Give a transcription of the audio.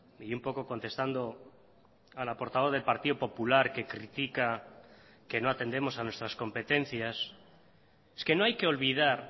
y un poco contestando a la portavoz del partido popular que critica que no atendemos a nuestras competencias es que no hay que olvidar